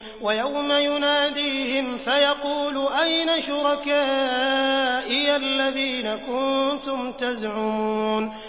وَيَوْمَ يُنَادِيهِمْ فَيَقُولُ أَيْنَ شُرَكَائِيَ الَّذِينَ كُنتُمْ تَزْعُمُونَ